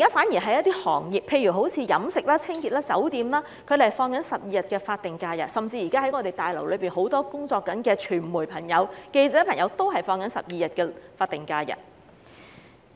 相反，有一些行業如飲食、清潔及酒店業的僱員，甚至是現時在立法會綜合大樓內工作的傳媒朋友，都是放取12天法定假日，